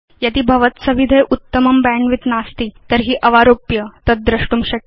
यदि भवत्सविधे उत्तमं बैण्डविड्थ नास्ति तर्हि अवारोप्य तद् द्रष्टुं शक्यम्